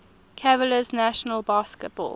cavaliers national basketball